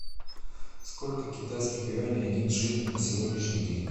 сколько китайских юаней один шиллинг на сегодняшний день